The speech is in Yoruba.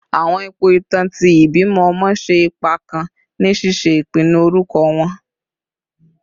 Awọn ipo itan ti ibimọ ọmọ ṣe ipa kan ni ṣiṣe ipinnu orukọ wọn